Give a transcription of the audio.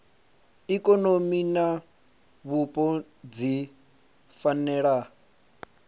ikonomi na vhupo dzi fanela